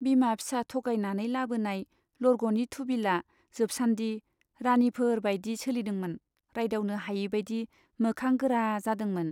बिमा फिसा थगायनानै लाबोनाय लरग'नि थुबिलआ जोबसान्दि राणीफोर बाइदि सोलिदोंमोन , रायदावनो हायैबाइदि मोखां गोरा जादोंमोन।